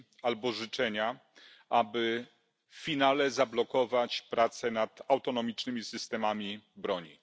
albo życzenia, aby w finale zablokować prace nad autonomicznymi systemami broni.